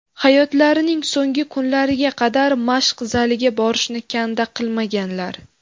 Hayotlarining so‘nggi kunlariga qadar mashq zaliga borishni kanda qilmaganlar.